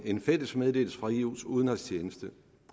en fælles meddelelse fra eus udenrigstjeneste